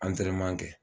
kɛ